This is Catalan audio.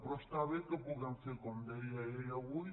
però està bé que ho puguem fer com deia ell avui